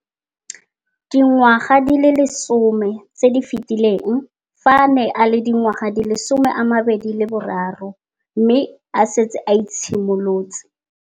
Dingwaga di le 10 tse di fetileng, fa a ne a le dingwaga di le 23 mme a setse a itshimoletse